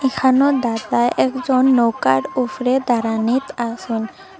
এখানেও দাদা একজন নৌকার উফরে দাঁড়ানিত আসেন ।